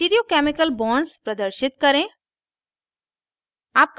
stereo chemical bonds प्रदर्शित करें